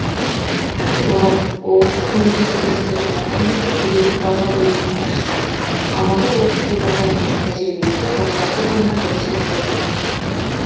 ғабит оразов облыстық мемлекеттік кірістер департаменті кедендік бақылау бөлімінің басшысы алматы облысы департаментінің тәжірибесінде отыз алты тонна бірінші рет болып жатыр